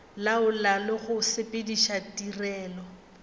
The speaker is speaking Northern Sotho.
laola le go sepediša tirelo